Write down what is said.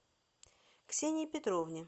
ксении петровне